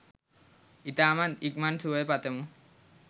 ඉතාම ඉක්මන් සුවය පතමු